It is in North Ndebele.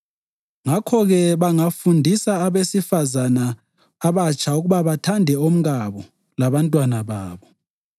Ngakho-ke, bangafundisa abesifazane abatsha ukuba bathande omkabo labantwana babo